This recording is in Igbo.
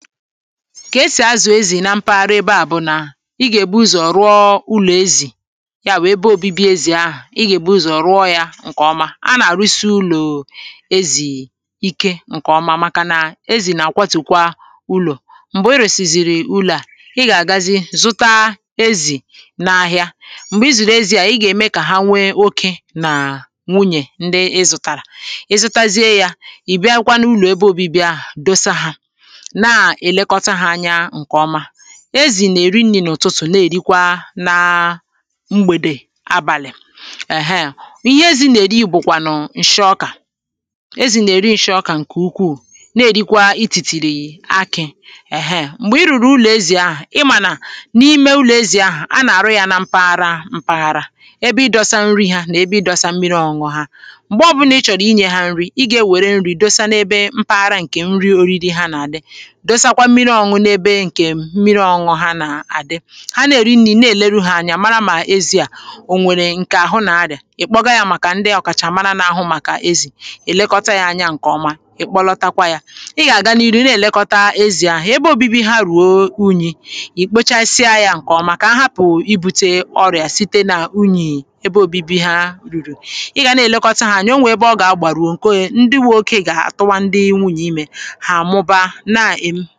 kà esì azụ̀ [paues]ezì na mpaghara ebe à bụ nà i gà-èbu ụzọ̀ rụọ ụlọ̀ ezì ya bu ebe obibi ezì ahụ̀ i gà-èbu ụzọ̀ rụọ yȧ ǹkè ọma a nà-àrụisi ụlọ̀ ezì ikė ǹkè ọma maka nà ezì nà-àkwọtùkwa ụlọ̀ m̀gbè i rusizìrì ụlọ̀ à i gà-àgazi zụta ezì n’ahịa m̀gbè izìrì ezi̇ à i gà-ème kà ha nwee okė nà um nwunyè ndị ịzụ̇tàrà ị zụtazie yȧ ì bịakwa nụ ụlọ̀ ebe obibi ahụ̀ dosa hȧ na elekọta ha anya nke ọma ezì nà-èri nni n’ụtụtụ̀ na-èrikwa na um mgbèdè abàlị̀ ẹ̀hẹe ihe ezì nà-èri ìbùkwànụ̀ ǹshị ọkà ezì nà-èri ịshị ọkà ǹkè ukwuu na-èrikwa itìtìrì akị̇ ẹ̀hẹe m̀gbè i rùrù ụlọ̀ ezi̇ ahụ̀ ị mà nà n’ime ụlọ̀ ezì ahụ̀ a nà-àrụ yȧ na mpaghara mpaghara ebe ị dọsa nri hȧ nà ebe ị dọsa mmiri ọñuñu hȧ m̀gbè ọbụnà ị chọ̀rọ̀ inyė hȧ nri̇ ị gà-ewère nri̇ dosa n’ebe mpaghara ǹkè nri oriri ha nà-àdị dosa kwa mmiri ọṅụṅụ n’ebe ǹkè mmiri ọṅụṅụ ha nà-àdị ha nà-èri nri̇ na-èleru hȧ anyȧ mara mà ezi̇ à ò nwèrè ǹkè àhụ nà-adị̀à ị kpọga ya màkà ndị ọ̀kàchà mara n’ahụ màkà ezì èlekọta ya anya ǹkè ọma ị kpọlọtakwa ya ị gà-àga n’iru na-èlekọta ezi̇ ahụ̀ ebe obibi ha ruo unyi̇ ì kpochasịa ya ǹkè ọma kà ahapụ̀ ibu̇te ọrịà site na unyì ebe obibi ha rùrù ị gà na-èlekọta ha anyȧ onwè ebe ọ gà-àgbàruo ǹke um ndị wụ̇ okė gà-àtụwa ndị inwu̇ n’imė hà àmụba na-àịm